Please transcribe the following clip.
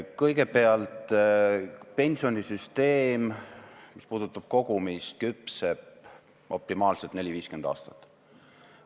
Kõigepealt, pensionisüsteem – mis puudutab kogumist – küpseb optimaalselt 40–50 aastat.